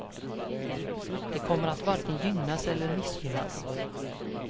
De kommer att varken gynnas eller missgynnas.